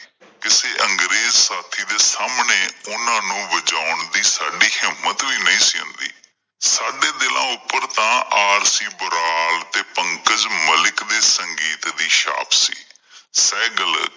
ਕਿਸੇ ਅੰਗਰੇਜ਼ ਸਾਥੀ ਦੇ ਸਾਹਮਣੇ ਉਹਨਾਂ ਨੂੰ ਵਜਾਉਣ ਦੀ ਸਾਡੀ ਹਿੰਮਤ ਵੀ ਨਹੀਂ ਸੀ ਹੁੰਦੀ, ਸਾਡੇ ਦਿਲਾਂ ਉੱਪਰ ਤਾਂ ਆਰਸੀ ਵੈਰਾਗ ਤੇ ਪੰਕਜ ਮਲਿਕ ਦੇ ਸੰਗੀਤ ਦੀ ਛਾਪ ਸੀ। ਸਹਿਗਲ